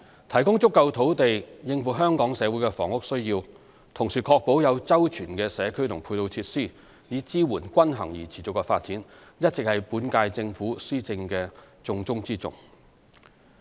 提供足夠土地應付香港社會的房屋需要，同時確保有周全的社區及配套設施以支援均衡而持續的發展，一直是本屆政府施政的重中之重。